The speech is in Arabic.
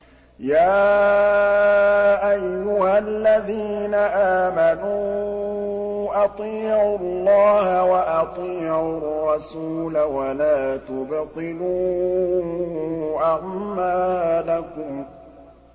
۞ يَا أَيُّهَا الَّذِينَ آمَنُوا أَطِيعُوا اللَّهَ وَأَطِيعُوا الرَّسُولَ وَلَا تُبْطِلُوا أَعْمَالَكُمْ